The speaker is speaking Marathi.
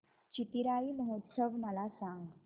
चिथिराई महोत्सव मला सांग